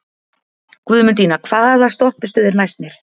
Guðmundína, hvaða stoppistöð er næst mér?